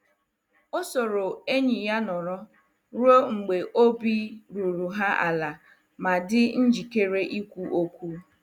O soro enyi ya nọrọ ruo mgbe obi ruru ha ala ma dị njikere ikwu okwu.